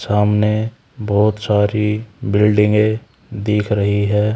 सामने बहोत सारी बिल्डिंगे दिख रही है।